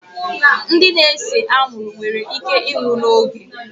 Ndị na-ese anwụrụ nwere íké ịnwụ n'oge